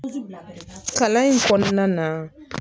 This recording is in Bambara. Kalan in kɔnɔna na